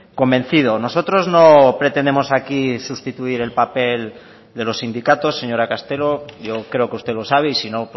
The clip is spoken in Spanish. convencido nosotros no pretendemos aquí sustituir el papel de los sindicatos señora castelo yo creo que usted lo sabe y si no